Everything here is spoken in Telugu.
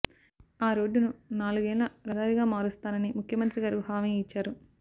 ఆ రోడ్డును నాలుగులేన్ల రహదారిగా మారుస్తానని ముఖ్యమంత్రి గారు హామీ ఇచ్చారు